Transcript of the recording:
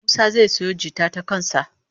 Musa zai sayo jita ta kan sa